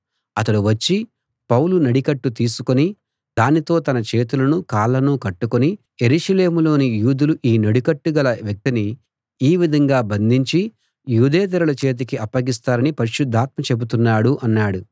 అతడు వచ్చి పౌలు నడికట్టు తీసుకుని దానితో తన చేతులను కాళ్ళను కట్టుకుని యెరూషలేములోని యూదులు ఈ నడికట్టుగల వ్యక్తిని ఈ విధంగా బంధించి యూదేతరుల చేతికి అప్పగిస్తారని పరిశుద్ధాత్మ చెబుతున్నాడు అన్నాడు